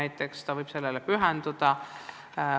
Siis võivad nad sellele pühenduda.